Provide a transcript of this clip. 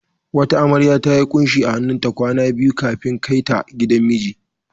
Wata amarya ta yi kunshi a hannunta kwana biyu kafin kai ta gidan miji.